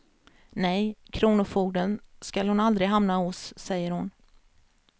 Nej, kronofogden skall hon aldrig hamna hos, säger hon.